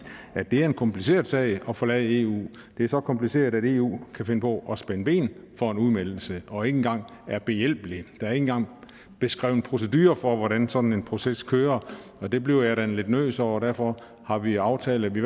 at det er en kompliceret sag at forlade eu det er så kompliceret at eu kan finde på at spænde ben for en udmeldelse og ikke engang er behjælpelig der er ikke engang beskrevet procedurer for hvordan sådan en proces kører det blev jeg da lidt nervøs over og derfor har vi aftalt at vi